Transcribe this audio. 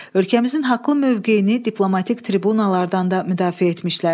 Ölkəmizin haqlı mövqeyini diplomatik tribunalardan da müdafiə etmişlər.